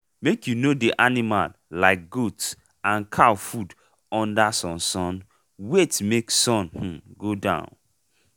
make u no dey animal like goat and cow food under sun sun wait make sun um go down.